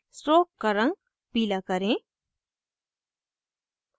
stroke का रंग पीला करें